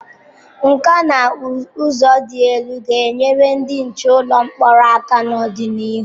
Nkà na ụzụ dị elu ga-enyere ndị nche ụlọ mkpọrọ aka n'ọdịnihu.